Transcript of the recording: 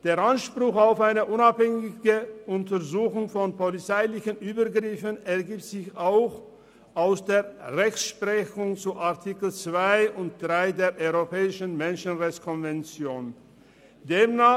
Der Anspruch auf eine unabhängige Untersuchung von polizeilichen Übergriffen ergibt sich auch aus der Rechtsprechung zu Artikel 2 und 3 der Konvention zum Schutze der Menschenrechte und Grundfreiheiten (Europäischen Menschenrechtskonvention, EMRK).